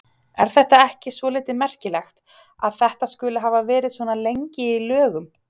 Er þetta ekki svolítið merkilegt að þetta skuli hafa verið svona lengi í lögum?